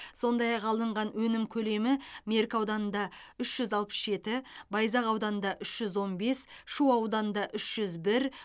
сондай ақ алынған өнім көлемі меркі ауданында үш жүз алпыс жеті байзақ ауданында үш жүз он бес шу ауданында үш жүз бір